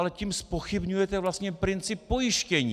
Ale tím zpochybňujete vlastně princip pojištění.